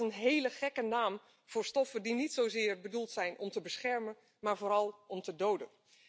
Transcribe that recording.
En dat is een hele gekke naam voor stoffen die niet zozeer bedoeld zijn om te beschermen, maar vooral om te doden.